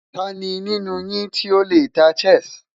Tani ninu yin ti o le ta Chess?